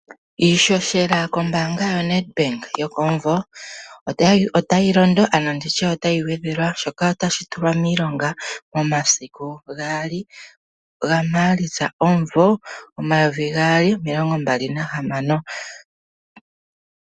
Iishoshela kombaanga yaNedbank yokomumvo otayi londo ano nditye otayi gwedhelwa, shoka tashi tulwa miilonga momasiku gaali gamaalitsa omumvo omayovi gaali omilongo mbala nahamano.